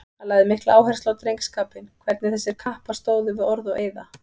Hann lagði mikla áherslu á drengskapinn, hvernig þessir kappar stóðu við orð og eiða.